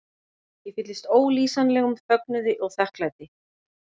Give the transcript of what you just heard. Ég fylltist ólýsanlegum fögnuði og þakklæti.